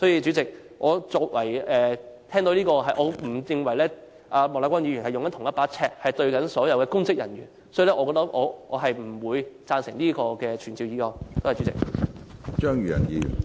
主席，我不認為莫乃光議員用同一把尺對待所有公職人員，所以我不贊成這項傳召議案。